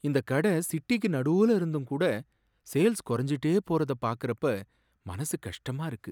இந்த கட சிட்டிக்கு நடூல இருந்தும் கூட சேல்ஸ் குறைஞ்சுகிட்டே போறதா பார்க்கறப்ப மனசு கஷ்டமா இருக்கு.